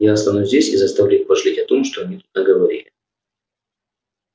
я останусь здесь и заставлю их пожалеть о том что они тут наговорили